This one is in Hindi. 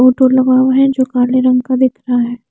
बोर्ड लगा हुआ है जो काले रंग का दिख रहा है।